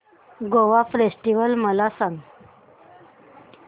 Goa festival मला सांग